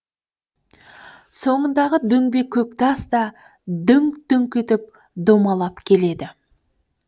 соңындағы дөңбек көктас да дүңк дүңк етіп домалап келеді